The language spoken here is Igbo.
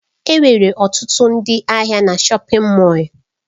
Enwere ọtụtụ ndị ahịa na shọpin Mọll.